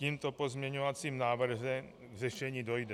Tímto pozměňovacím návrhem k řešení dojde.